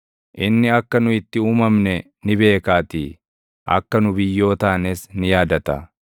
inni akka nu itti uumamne ni beekaatii; akka nu biyyoo taanes ni yaadata.